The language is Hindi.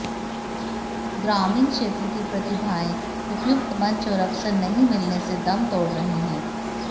ग्रामीण क्षेत्र की प्रतिभाएं उपयुक्त मंच और अवसर नहीं मिलने से दम तोड़ रही हैं